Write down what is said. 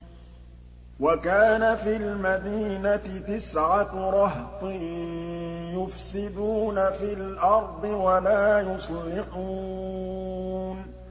وَكَانَ فِي الْمَدِينَةِ تِسْعَةُ رَهْطٍ يُفْسِدُونَ فِي الْأَرْضِ وَلَا يُصْلِحُونَ